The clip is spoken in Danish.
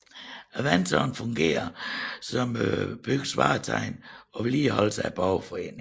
Vandtårnet fungerer som byens vartegn og vedligeholdes af borgerforeningen